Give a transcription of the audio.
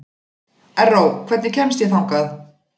Erró, hvernig kemst ég þangað?